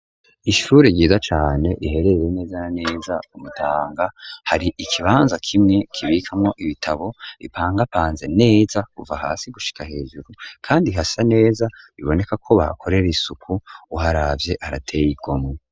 Ishuri ryiza cane rya kaminuza riherereye nezana neza hagati mu gisagana ca bujumbura kumutanga rifise ikirasi ikiriko cakamwo amatara afise umucwarara wera imbere hariho ahantu hari ibendera ryacu ry'igihugu.